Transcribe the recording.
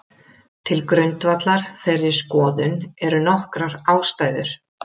Til grundvallar þeirri skoðun eru nokkrar ástæður.